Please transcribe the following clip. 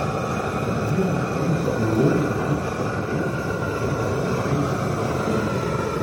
Sistemiziranih mest za urologe imajo sicer devet, a mesta že doslej niso bila zapolnjena.